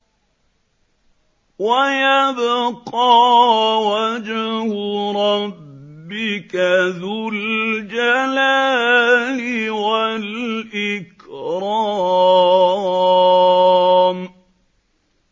وَيَبْقَىٰ وَجْهُ رَبِّكَ ذُو الْجَلَالِ وَالْإِكْرَامِ